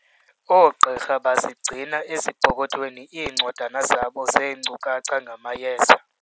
Oogqirha bazigcina ezipokothweni iincwadana zabo zeenkcukacha ngamayeza.